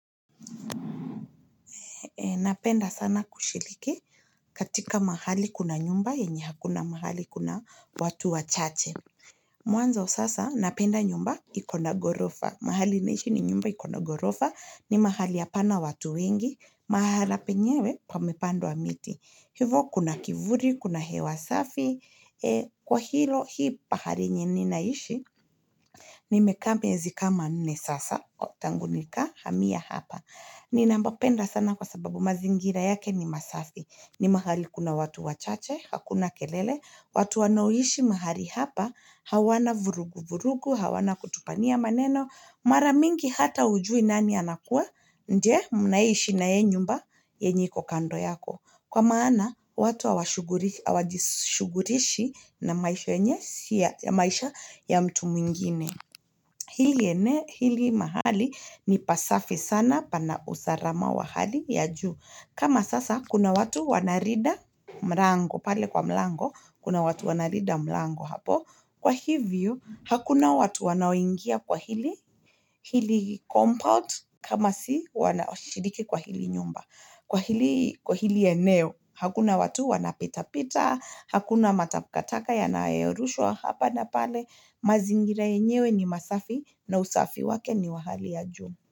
Napenda sana kushiriki katika mahali kuna nyumba yenye hakuna mahali kuna watu wachache. Mwanzo sasa napenda nyumba iko na gorofa. Mahali naishi ni nyumba iko na gorofa. Ni mahali hapana watu wengi. Mahala penyewe pamepandwa miti. Hivo kuna kivuli, kuna hewa safi. Kwa hilo hii pahali yenye ninaishi, nimekaa miezi kama nne sasa. Tangu nikahamia hapa. Ninapapenda sana kwa sababu mazingira yake ni masafi. Ni mahali kuna watu wachache hakuna kelele. Watu wanoaishi mahali hapa, hawana vuruguvurugu, hawana kutupania maneno. Mara mingi hata hujui nani anakua ndiye mnaishi nayeye nyumba yenye iko kando yako. Kwa maana watu hawajishughulishi na maisha ya mtu mwingine. Hili mahali ni pasafi sana pana usalama wa hali ya juu. Kama sasa kuna watu wanalinda mlango. Pale kwa mlango kuna watu wanalinda mlango hapo. Kwa hii view, hakuna watu wanaoingia kwa hili compound kama si, wanashiriki kwa hili nyumba. Kwa hili Kwa hili eneo, hakuna watu wanapitapita. Hakuna matakataka yanayorushwa hapa na pale. Mazingira yenyewe ni masafi na usafi wake ni wa hali ya juu.